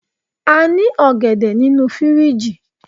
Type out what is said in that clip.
a ni ògèdè ninu firiji